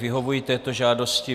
Vyhovuji této žádosti.